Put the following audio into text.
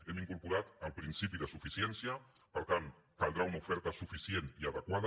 hem incorporat el principi de suficiència per tant caldrà una oferta suficient i adequada